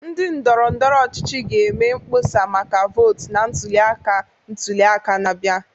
Ndị ndọrọndọrọ ọchịchị ga-eme mkpọsa maka votu na ntuli aka ntuli aka na-abịa.